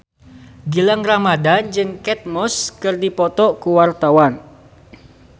Gilang Ramadan jeung Kate Moss keur dipoto ku wartawan